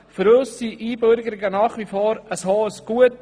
Für uns sind Einbürgerungen nach wie vor ein hohes Gut.